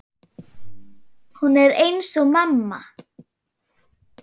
Hún er eins og mamma.